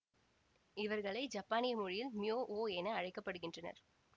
இவர்களை ஜப்பானிய மொழியில் ம்யொ ஓ என அழைக்க படுகின்றனர்